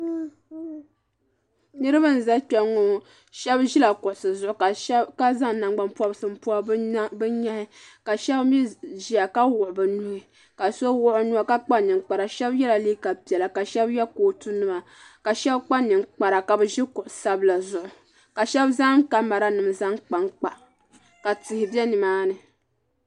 niraba n ʒɛ kpɛŋŋɔ ka zaŋ nyɛ pobirisi n pobi bi nyaɣi ka shab mii ʒiya ka wuɣi bi nuhi ka so wuɣu o nuwa ka kpa ninkpara shab yɛla liiga piɛla ka shab yɛ kootu nima ka shab kpa ninkpara ka bi ʒi kuɣu sabila zuɣu ka shab zaŋ kamɛra nim kpankpa ka tihi bɛ nimaani